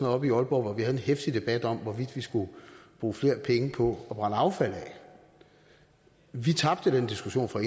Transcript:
oppe i aalborg havde en heftig debat om hvorvidt vi skulle bruge flere penge på at brænde affald af vi tabte den diskussion fra